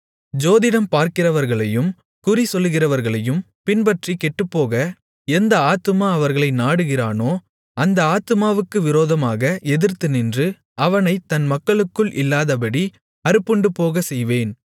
ஜோதிடம் பார்க்கிறவர்களையும் குறிசொல்லுகிறவர்களையும் பின்பற்றி கெட்டுப்போக எந்த ஆத்துமா அவர்களை நாடுகிறானோ அந்த ஆத்துமாவுக்கு விரோதமாக எதிர்த்துநின்று அவனைத் தன் மக்களுக்குள் இல்லாதபடி அறுப்புண்டுபோகச் செய்வேன்